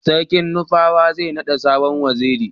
sarkin nupawa zai nada sabon waziri